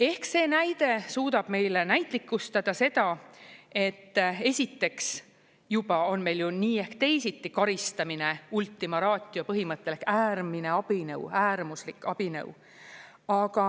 Ehk see näide suudab meile näitlikustada seda, et esiteks juba on meil ju nii ehk teisiti karistamine ultima ratio põhimõttel äärmine abinõu, äärmuslik abinõu, aga